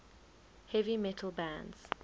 heavy metal bands